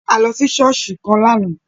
A lọ sí ṣọ̀ọ́sì kan lààná